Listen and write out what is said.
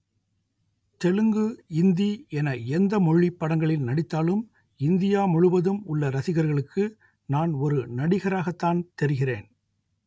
தெலுங்கு இந்தி என எந்தமொழி படங்களில் நடித்தாலும் இந்தியா முழுவதும் உள்ள ரசிகர்களுக்கு நான் ஒரு நடிகராகத்தான் தெரிகிறேன்